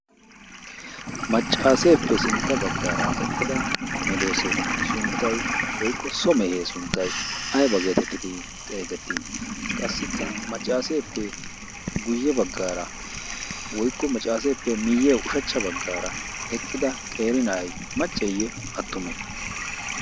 maccaaseeppe sintta baggaara eqqida medoose sunttay woykko so mehee sunttay ayba geetettidi xeegettii qassikka maccaaseeppe guyye baggaara woykko maccaaseeppe miyye ushachcha baggaara eqqida qeri na'ay macceeyye attume